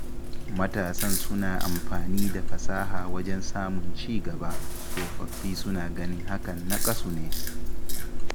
Matasan suna amfani da fasaha wajen samun ci gaba, tsofaffi suna ganin hakan naƙasu ne